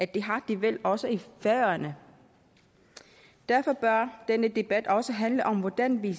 det har de vel også i færøerne derfor bør denne debat også handle om hvordan vi